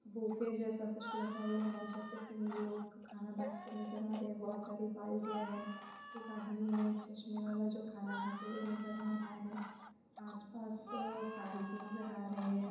Buffet जैसे कुछ लगा हुआ है जहां पे तीन लोग कहना बांटते नजर आ रहे है बोहोत सारे बाल्टीया है एक आदमी है चसमे बाला जो कहना कहते नजर आराहा है आसपास आ फेनस नजर आ रहे है।